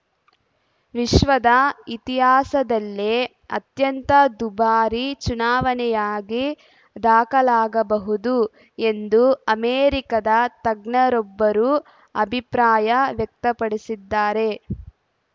ವಿಶ್ವದ ಇತಿಹಾಸದಲ್ಲೇ ಅತ್ಯಂತ ದುಬಾರಿ ಚುನಾವಣೆಯಾಗಿ ದಾಖಲಾಗಬಹುದು ಎಂದು ಅಮೆರಿಕದ ತಜ್ಞರೊಬ್ಬರು ಅಭಿಪ್ರಾಯ ವ್ಯಕ್ತಪಡಿಸಿದ್ದಾರೆ